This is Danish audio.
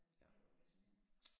Ja det er jo fascinerende